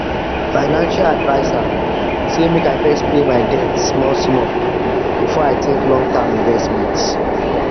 financial adviser say make i first pay my debt small small before i think long term investment